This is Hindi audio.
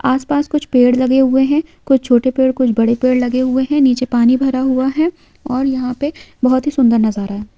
आसपास कुछ पेड़ लगे हुए है कुछ छोटे पेड़ कुछ बड़े पेड़ लगे हुए है नीचे पानी भरा हुआ है और यहाँ पे बहुत ही सुंदर नजारा है।